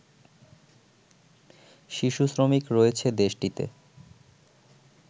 শিশু শ্রমিক রয়েছে দেশটিতে